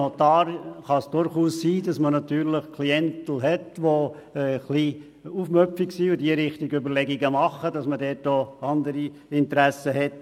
Es kann durchaus sein, dass man als Notar Klientel hat, die etwas aufmüpfig ist, sich Überlegungen in diese Richtung macht, und man dort auch andere Interessen hat.